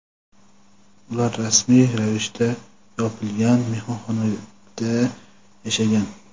ular rasmiy ravishda yopilgan mehmonxonada yashagan.